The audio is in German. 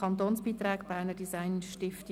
Kantonsbeiträge Berner Designstiftung.